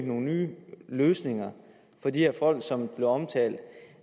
nogle nye løsninger for de her folk som blev omtalt